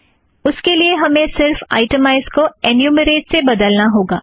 उसके लिए हमे सिर्फ आइटमैज़ को एन्यूमरेट से बदलना होगा